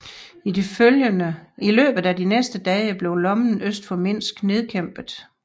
I løbet af de næste dage blev lommen øst for Minsk nedkæmpet